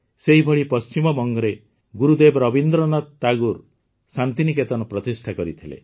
ସେହିଭଳି ପଶ୍ଚିମବଙ୍ଗରେ ଗୁରୁଦେବ ରବୀନ୍ଦ୍ରନାଥ ଠାକୁର ଶାନ୍ତିନିକେତନ ପ୍ରତିଷ୍ଠା କରିଥିଲେ